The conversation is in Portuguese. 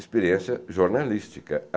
experiência jornalística.